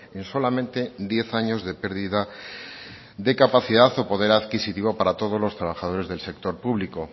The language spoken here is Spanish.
en solamente diez años de pérdida de capacidad o poder adquisitivo para todos los trabajadores del sector público